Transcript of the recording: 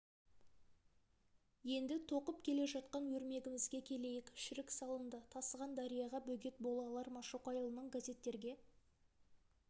енді тоқып келе жатқан өрмегімізге келейік шірік салынды тасыған дарияға бөгет бола алар ма шоқайұлының газеттерге